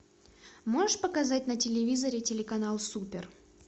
можешь показать на телевизоре телеканал супер